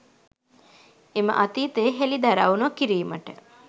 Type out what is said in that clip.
එම අතීතය හෙළිදරව් නොකිරීමට